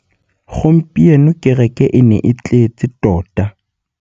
Gompieno kêrêkê e ne e tletse tota.